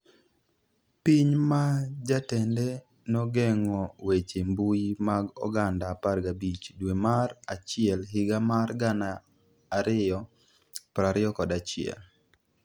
Piny ma jatende nogeng'o weche mbui mag oganda 15 dwe mar achiel higa mar 2021